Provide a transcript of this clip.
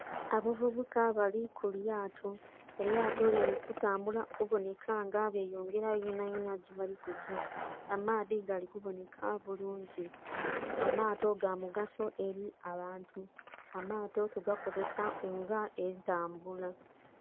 Abavubuka bali kulyato, elyato liri kutambula kubonheka nga beyongera yonha yonha gyebali kugya , amaadhi gali kubonheka bulungi amato gamugaso eli abantu, amato tugakozesa nga etambula.